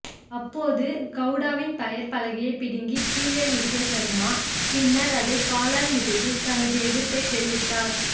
அப்போது கவுடாவின் பெயர் பலகையை பிடுங்கி கீழே வீசிய சர்மா பி்ன்னர் அதை காலால் மிதித்து தனது எதிர்ப்பை தெரிவித்தார்